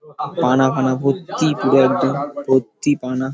পানা ফানা ভর্তি পুরো একদম ভর্তি পানা